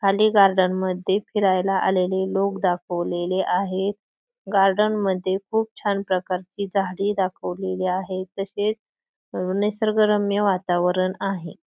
खाली गार्डन मध्ये फिरायला आलेले लोक दाखवलेले आहेत गार्डन मध्ये खूप छान प्रकारची झाडी दाखवलेली आहे तसेच अ निसर्गरम्य वातावरण आहे.